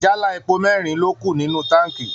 Jálá epo merin ló kù nínú táǹkì.